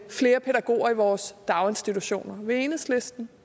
flere pædagoger i vores daginstitutioner vil enhedslisten